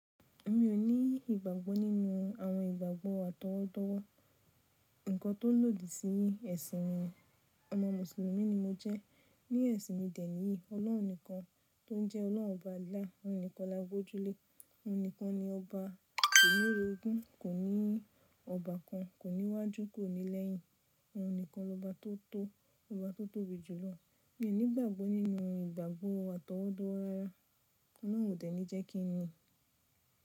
Mi ò ní ìgbàgbọ́ nínú àwọn ìgbàgbọ́ àtọwọ́dọ́wọ́. Ǹkan tó lòdì sí ẹ̀sìn mí. Ọmọ Mùsùlùmí ni mo jẹ́. Ní ẹ̀sìn mi dẹ̀ ní Ọlọ́run nìkan tó jẹ́ ọlọ́run ọba Allah, òun nìkan la gbójú lé, òun nìkan ni ọba ko ni orogún, kò ní ọba kan, kò ní iwájú, kò ní lẹ́yìn. Òun nìkan lo ba tó tó, lo ba tó tóbi jùlọ. Mi ò ní ìgbàgbọ́ nínú ìgbàgbọ́ àtọwọ́dọ́wọ rárá. Ùn dẹ̀ ní jẹ́ kí n ni.